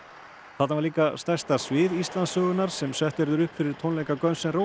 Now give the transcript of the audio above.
þarna var líka stærsta svið Íslandssögunnar sem sett verður upp fyrir tónleika